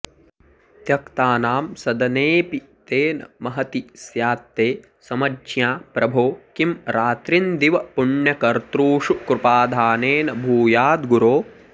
त्यक्तानां सदनेऽपि तेन महती स्यात्ते समज्ञा प्रभो किं रात्रिन्दिवपुण्यकर्तृषु कृपाधानेन भूयाद्गुरो